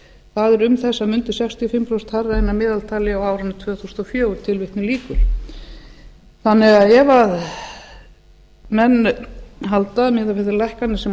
það er um þessar mundir sextíu og fimm prósent hærra en að meðaltali á árinu tvö þúsund og fjögur þannig að ef menn halda miðað við þær lækkanir sem